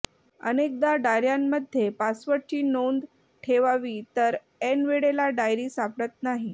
अनेकदा डायर्यांमध्ये पासवर्डची नोंद ठेवावी तर ऐनवेळेला डायरी सापडत नाही